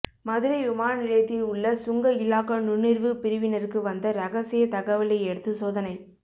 மதுரை விமான நிலையத்தில் உள்ள சுங்க இலாகா நுண்ணறிவு பிரிவினருக்கு வந்த ரகசிய தகவலையடுத்து சோதனை